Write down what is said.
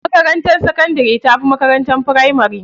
Makarantar sakandari tafi makarantar firamari.